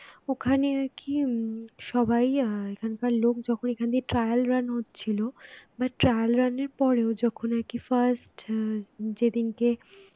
ওখানে নাকি উম সবাই আহ এখানকার লোক যখন এখান দিয়ে trial run হচ্ছিল but trial run এর পরেও যখন আর কি first যেদিনকে